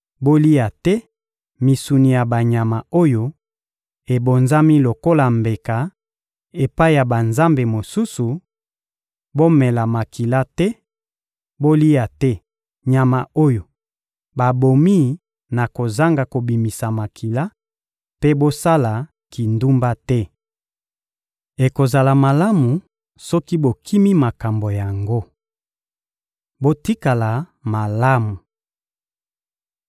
Bolia te misuni ya banyama oyo ebonzami lokola mbeka epai ya banzambe mosusu, bomela makila te, bolia te nyama oyo babomi na kozanga kobimisa makila, mpe bosala kindumba te. Ekozala malamu soki bokimi makambo yango. Botikala malamu!